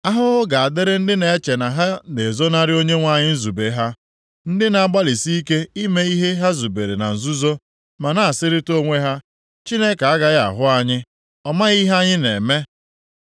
Ahụhụ ga-adịrị ndị na-eche na ha na-ezonarị Onyenwe anyị nzube ha, ndị na-agbalịsị ike ime ihe ha zubere na nzuzo, ma na-asịrịta onwe ha, “Chineke agaghị ahụ anyị. Ọ maghị ihe anyị na-eme!”